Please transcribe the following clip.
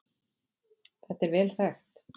Þetta er vel þekkt